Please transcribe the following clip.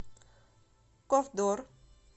ковдор